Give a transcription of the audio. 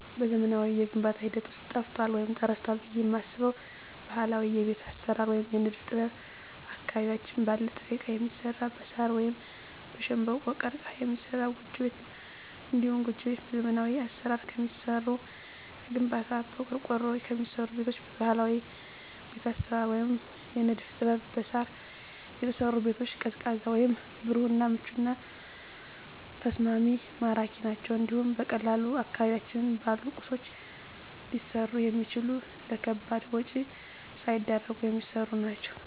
በዘመናዊው የግንባታ ሂደት ውስጥ ጠፍቷል ወይም ተረስቷል ብየ የማስበው ባህላዊ የቤት አሰራር ወይም የንድፍ ጥበብ አካባቢያችን ባለ ጥሬ እቃ የሚሰራ በሳር ወይም በሸንበቆ(ቀርቀሀ) የሚሰራ ጎጆ ቤት ነው። እንዲሁም ጎጆ ቤት በዘመናዊ አሰራር ከሚሰሩ ከግንባታ፣ በቆርቆሮ ከሚሰሩ ቤቶች በባህላዊ ቤት አሰራር ወይም የንድፍ ጥበብ በሳር የተሰሩ ቤቶች ቀዝቃዛ ወይም ብሩህ እና ምቹና ተስማሚ ማራኪ ናቸው እንዲሁም በቀላሉ አካባቢያችን ባሉ ቁሶች ሊሰሩ የሚችሉ ለከባድ ወጭ ሳይዳርጉ የሚሰሩ ናቸው።